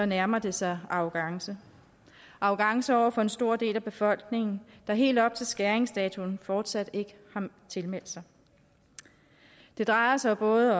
nærmer det sig arrogance arrogance over for en stor del af befolkningen der helt op til skæringsdatoen fortsat ikke har tilmeldt sig det drejer sig både